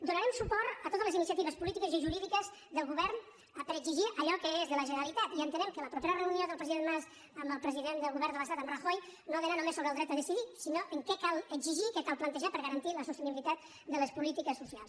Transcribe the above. donarem suport a totes les iniciatives polítiques i jurídiques del govern per exigir allò que és de la generalitat i entenem que la propera reunió del president mas amb el president del govern de l’estat en rajoy no ha d’anar només sobre el dret a decidir sinó en què cal exigir què cal plantejar per garantir la sostenibilitat de les polítiques socials